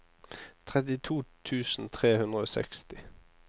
trettito tusen tre hundre og seksti